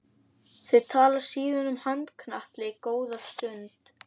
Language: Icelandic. Þau tala síðan um handknattleik góða stund.